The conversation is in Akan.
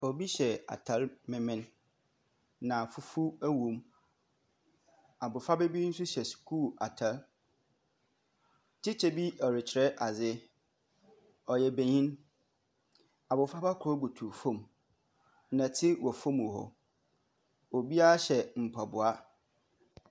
Obi hyɛ ataare mimin. Na fufuw wo mu. Abofra b bi nso hyɛ sukuu ataare. Tikya bi ɔre kyerɛ adzi. Ɔyɛ benyini. bofra ba koro butuw fɔm. nnɔte wɔ fɔm hɔ. Obia hyɛ mpaboa.